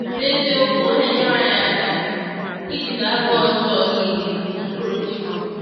N’eziokwu, ọ na-enyere anyị aka ijide agụụ ọjọọ niile n’okpuru njikwa.